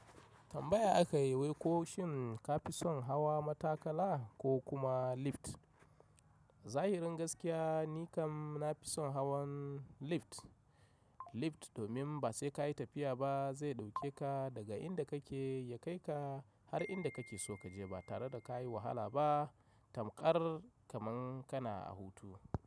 Tambaya aka yi wai ko shin ka fi son hawa matakala ko kuma lift? Zahi rin gaskiya ni kam na fi son hawan lift. Lift domin ba sai ka yi tafiya ba zai ɗauke ka daga inda kake ya kai ka har inda kake so ka je ba tare da ka yi wahala ba tamƙar kaman kana a hutu.